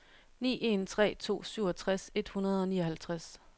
ni en tre to syvogtres et hundrede og nioghalvtreds